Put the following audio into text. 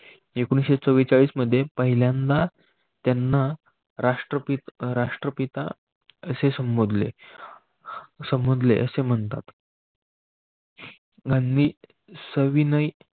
एकोणविससे चवरेचाळीस मध्येपहिल्यांदा त्यांना राष्ट्रपती राष्ट्रपिता असे संबोधले संबोधले असे म्हणतात. गांधी सविनय